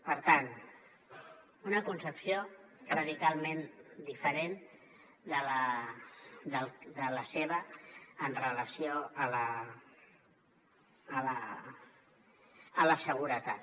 per tant una concepció radicalment diferent de la seva amb relació a la seguretat